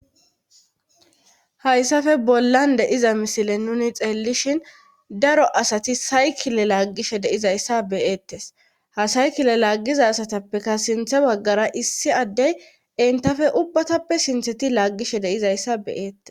Hayssafe bollan deiza misile nuni xeellishin daro asati saykile laaggishe deizayssa beyeettes ha saykile laaggiza asatappeka sinthe baggara issi addey entafe ubbatappe sintheti laaggishe deizayssa beyeettes.